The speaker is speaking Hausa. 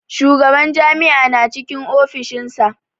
Shugaban jami'a na cikin ofishinsa.